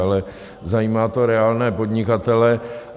Ale zajímá to reálné podnikatele.